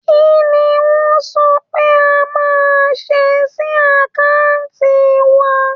Kí ni wọ́n sọ pé a máa ṣe sí àkáǹtì wa?